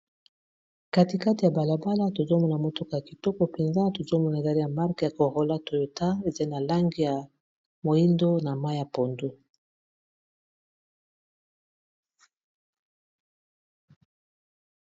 Katikati ya balabala tozo mona mutuka ya kitoko penza, tozo mona ezali ya marque ya Corola toyota, ezai na langi ya moyindo na mayi ya pondu .